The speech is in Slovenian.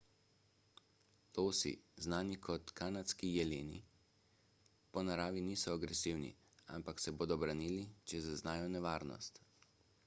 losi znani tudi kot kanadski jeleni po naravi niso agresivni ampak se bodo branili če zaznajo nevarnost